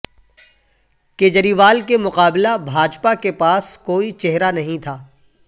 کیجریوال کے مقابلہ بھاجپا کے پاس کوئی چہرہ نہیں تھا